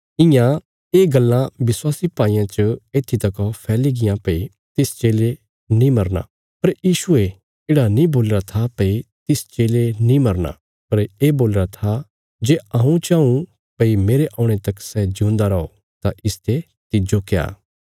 इयां ये गल्लां विश्वासी भाईयां च येत्थी तको फैली गियां भई तिस चेले नीं मरना पर यीशुये येढ़ा नीं बोलीरा था भई तिस चेले नीं मरना पर ये बोलीरा था जे हऊँ चाऊँ भई मेरे औणे तक सै जिऊंदा रौ तां इसते तिज्जो क्या